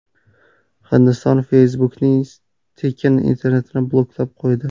Hindiston Facebook’ning tekin internetini bloklab qo‘ydi.